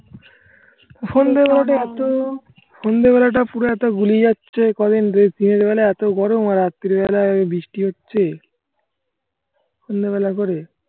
সন্ধ্যেবেলাটা একটু সন্ধ্যেবেলাটা একটু গুলিয়ে যাচ্ছে কদিন রেস্ট নেয়া যাবে না? এত গরম আর রাত্রিবেলায় বৃষ্টি হচ্ছে সন্ধ্যেবেলা করে